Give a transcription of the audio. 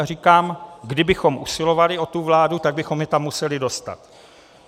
A říkám, kdybychom usilovali o tu vládu, tak bychom je tam museli dostat.